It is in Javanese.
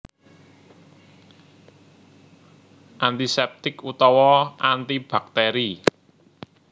Antiseptik utawa antibakteri